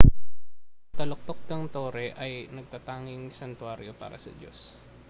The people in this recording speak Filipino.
ang taluktok ng tore ay natatanging santuwaryo para sa diyos